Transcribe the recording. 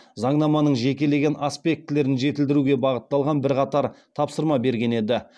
заңнаманың жекелеген аспектілерін жетілдіруге бағытталған бірқатар тапсырма берген еді